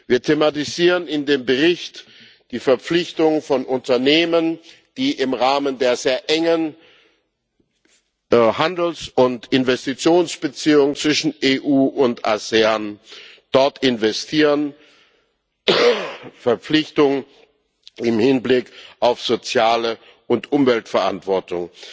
Wir thematisieren in dem Bericht die Verpflichtung von Unternehmern, die im Rahmen der sehr engen Handels und Investitionsbeziehungen zwischen EU und ASEAN dort investieren, die Verpflichtung im Hinblick auf soziale und Umweltverantwortung.